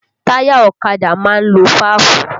Táyà ọ̀kadà máa ń lo fáàfù